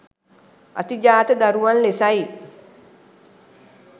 අතිජාත දරුවන් ලෙසයි.